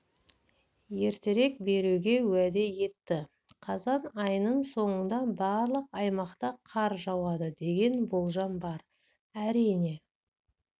ертерек беруге уәде етті қазан айының соңында барлық аймақта қар жауады деген болжам бар әрине